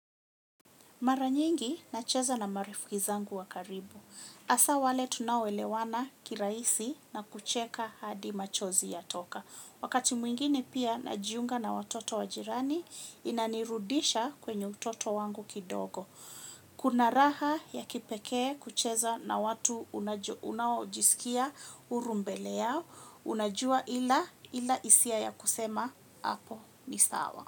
Mara nyingi nacheza na marafiki zangu wa karibu. Hasa wale tunao elewana kirahisi na kucheka hadi machozi yatoka. Wakati mwingine pia najiunga na watoto wa jirani inanirudisha kwenye utoto wangu kidogo. Kuna raha ya kipekee kucheza na watu unaojisikia huru mbele yao. Unajua ila hisia ya kusema hapo ni sawa.